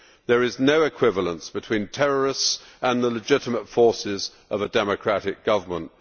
There is no equivalence between terrorists and the legitimate forces of a democratic government.